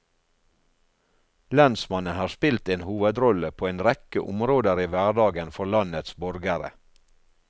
Lensmannen har spilt en hovedrolle på en rekke områder i hverdagen for landets borgere.